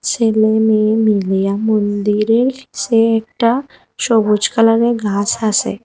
ছেলে মেয়ে মিলিয়া মন্দিরে এসে একটা সবুজ কালারের ঘাস আসে ।